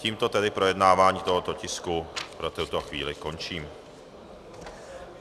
Tímto tedy projednávání tohoto tisku pro tuto chvíli končím.